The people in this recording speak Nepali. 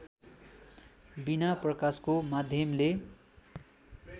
बिना प्रकाशको माध्यमले